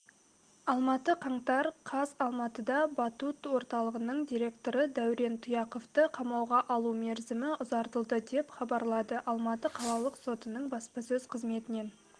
алматы қаңтар қаз алматыда батут орталығының директоры дәурен тұяқовты қамауға алу мерзімі ұзартылды деп хабарлады алматы қалалық сотының баспасөз қызметінен